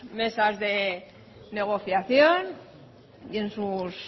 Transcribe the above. mesas de negociación y en sus